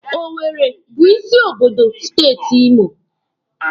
Owere bụ isi obodo steeti Imo.